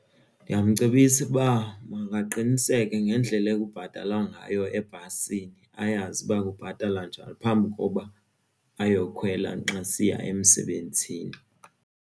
Ndingamcebisa ukuba makaqiniseke ngendlela ekubhatalwa ngayo ebhasini ayazi uba kubhatala njani phambi koba ayokhwela xa esiya emsebenzini.